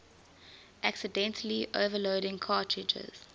accidentally overloading cartridges